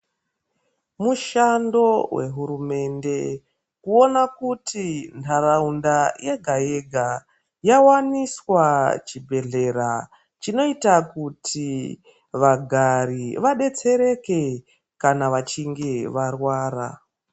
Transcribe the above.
Mushando wehurumende kuona kuti ntaraunda yega yega yawaniswa chibhedhlera chinoita kuti vagari vadetsereke kana vachinge varwara.